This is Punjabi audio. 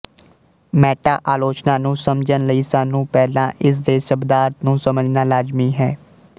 ਮੈਟਾ ਆਲੋਚਨਾ ਨੂੰ ਸਮਝਣ ਲਈ ਸਾਨੂੰ ਪਹਿਲਾ ਇਸ ਦੇੇ ਸਬਦਾਰਥ ਨੂੰ ਸਮਝਣਾ ਲਾਜ਼ਮੀ ਹੈ